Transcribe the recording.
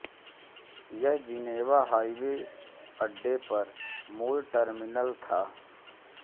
यह जिनेवा हवाई अड्डे पर मूल टर्मिनल था